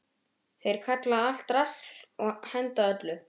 Þeir kalla allt drasl og henda öllu.